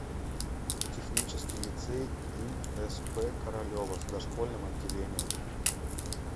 технический лицей им сп королева с дошкольным отделением